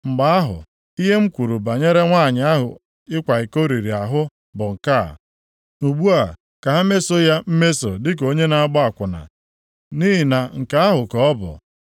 Mgbe ahụ, ihe m kwuru banyere nwanyị ahụ ịkwa iko riri ahụ bụ nke a, ‘Ugbu a, ka ha mesoo ya mmeso dịka onye na-agba akwụna, nʼihi na nke ahụ ka ọ bụ.’